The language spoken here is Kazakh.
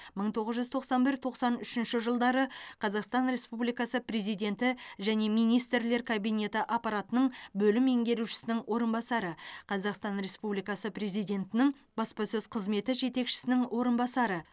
мың тоғыз жүз тоқсан бір тоқсан үшінші жылдары қазақстан республикасы президенті және министрлер кабинеті аппаратының бөлім меңгерушісінің орынбасары қазақстан республикасы президентінің баспасөз қызметі жетекшісінің орынбасары